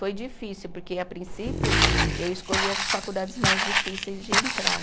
Foi difícil, porque a princípio eu escolhi as faculdades mais difíceis de entrar.